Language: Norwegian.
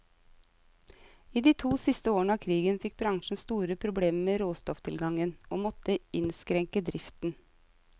I de to siste årene av krigen fikk bransjen store problemer med råstofftilgangen, og måtte innskrenke driften.